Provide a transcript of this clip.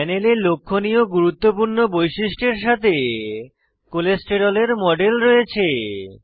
প্যানেলে লক্ষনীয় গুরুত্বপূর্ণ বৈশিষ্ট্য এর সাথে কোলেস্টেরলের মডেল রয়েছে